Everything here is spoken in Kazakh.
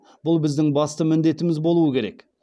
бұл біздің басты міндетіміз болуы керек